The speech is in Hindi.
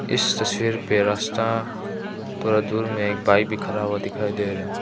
इस तस्वीर पे रास्ता थोड़ा दूर में एक बाइक भी खराब दिखाई दे रहा है।